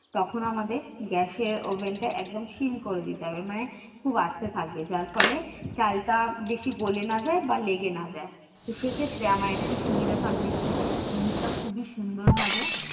তখন আমাদের gas এর oven টা একদম সিম করে দিতে হবে মানে খুব আস্তে থাকবে যার ফলে চালটা বেশি গোলে না যায় বা লেগে না যায়। তো সেক্ষেত্রে আমার একটু সুবিধা থাকবে কী জিনিটা খুবই সুন্দর ভাবে